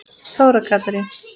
Þóra Katrín.